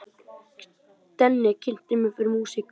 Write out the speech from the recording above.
Denni kynnti mig fyrir músík.